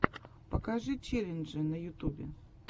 покажи челленджи на ютубе